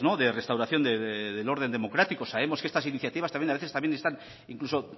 de restauración del orden democrático sabemos que estas iniciativas también a veces también están incluso